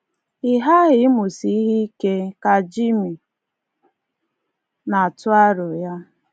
“Ị ghaghị ịmụsi ihe ike,” ka Jimmy na-atụ aro ya.